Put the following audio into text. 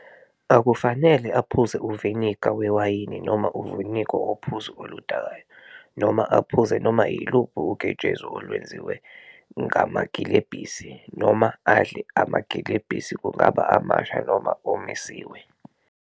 Akufanele aphuze uviniga wewayini noma uviniga wophuzo oludakayo, noma aphuze noma yiluphi uketshezi olwenziwe ngamagilebhisi, noma adle amagilebhisi kungaba amasha noma omisiwe.